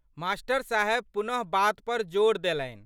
मा.साहेब पुनः बात पर जोर देलनि।